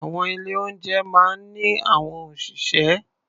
Àwọn ilé-oúnjẹ máa ń ní àwọn òṣìṣẹ́.